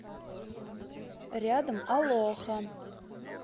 рядом алоха